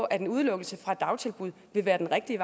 at en udelukkelse fra et dagtilbud vil være den rigtige